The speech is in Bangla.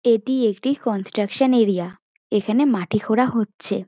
এটি একটি কনস্ট্রাকশন এরিয়া এখানে মাটি খোঁড়া হচ্ছে।